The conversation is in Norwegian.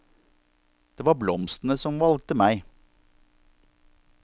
Det var blomstene som valgte meg.